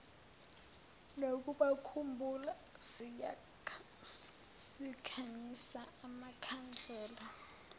nokubakhumbula sikhanyisa amakhandlela